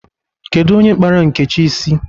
Kedu onye kpara Nkechi isi?